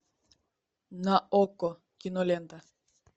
на окко кинолента